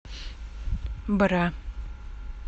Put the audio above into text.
бра